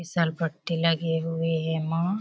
फिसल पट्टी लगी हुई है ए मा --